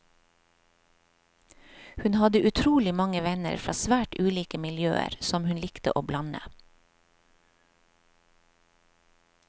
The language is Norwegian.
Hun hadde utrolig mange venner fra svært ulike miljøer, som hun likte å blande.